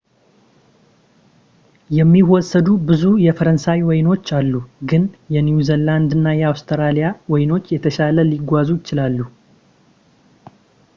የሚወሰዱ ብዙ የፈረንሳይ ወይኖች አሉ ግን የኒው ዚላንድ እና አውስትራሊያ ወይኖች የተሻለ ሊጓዙ ይችላሉ